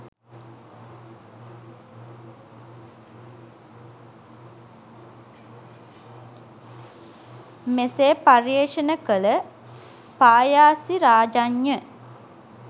මෙසේ පර්යේෂණ කළ පායාසිරාජඤ්ඤ